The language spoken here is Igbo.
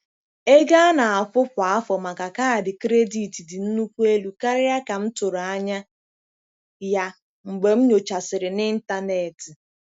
Ego a na-akwụ kwa afọ maka kaadị kredit dị nnukwu elu karịa ka m tụrụ anya ya mgbe m nyochasịrị n'ịntanetị.